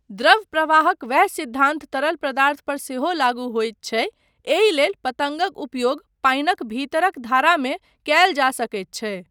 द्रव प्रवाहक वैह सिद्धान्त तरल पदार्थ पर सेहो लागू होइत छै, एहि लेल पतंगक उपयोग पानिक भीतरक धारामे कयल जा सकैत छै।